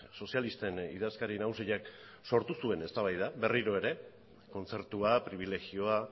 sozialisten idazkari nagusiak sortu zuen eztabaida berriro ere kontzertua pribilegioa